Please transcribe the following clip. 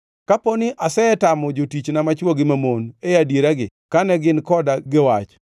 “Kapo ni asetamo jotichna machwo gi mamon e adieragi kane gin koda gi wach,